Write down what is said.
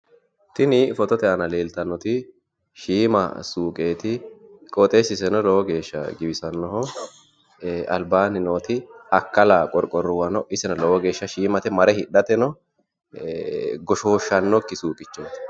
tini fotote aana leeltannoti shiima suuqeeti, qooxeessiseno lowo geeshsha giwisannoho albaanni nooti akkala qorqorrono iseno lowo geeshsha shiimate mare hidhateno goshooshshannokki suuqichooti.